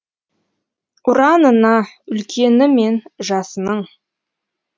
ұранына үлкені мен жасының